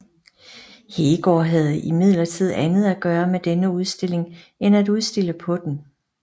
Heegaard havde imidlertid andet at gøre med denne udstilling end at udstille på den